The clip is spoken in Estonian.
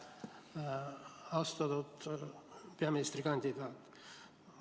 Austatud peaministrikandidaat!